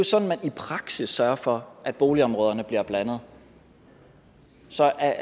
sådan man i praksis sørger for at boligområderne bliver blandet så jeg